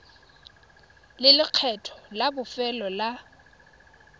le lekgetho la bofelo la